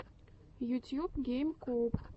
ютьюб гейм коуб